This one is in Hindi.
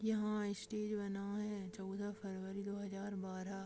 यहाँ स्टेज बना है चौदह फरवरी दो हजार बारह--